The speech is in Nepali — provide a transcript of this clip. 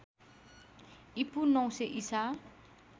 ईपू ९०० ईसा